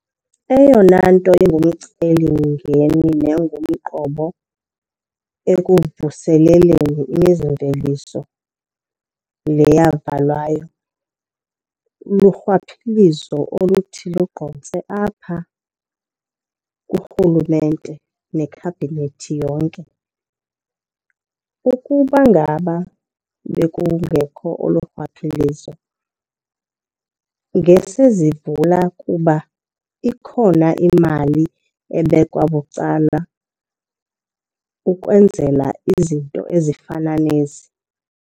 Eyona nto ingumcelimngeni nengumqobo ekuvuseleleni imizimveliso le yavalwayo lurhwaphilizo oluthi lugqotse apha kurhulumente nekhabhinethi yonke. Ukuba ngaba bekungekho olo rhwaphilizo ngesizivula kuba ikhona imali ebekwa bucala ukwenzela izinto ezifana nezi.